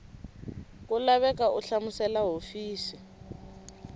ku laveka u hlamusela hofisi